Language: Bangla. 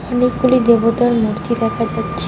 অনেকগুলি দেবতার মূর্তি দেখা যাচ্ছে.